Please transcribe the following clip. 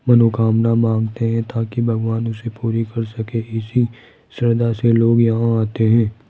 मनोकामना मांगते हैं ताकि भगवान उसे पूरी कर सके इसी श्रद्धा से लोग यहां आते हैं।